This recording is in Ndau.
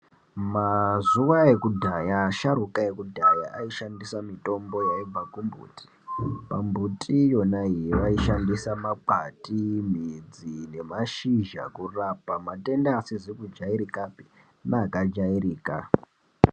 Mazuva akudhaya asharukwa ekudhaya aishandisa mitombo yaibva kumbuti. Pambuti yonaiyi vaishandisa makwati, midzi nemashizha kurapa matenda asizi kujairikapi neakajairika.